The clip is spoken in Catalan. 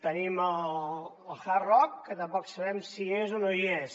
tenim el hard rock que tampoc sabem si hi és o no hi és